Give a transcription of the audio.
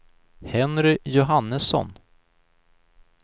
Henry Johannesson